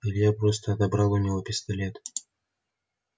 илья просто отобрал у него пистолет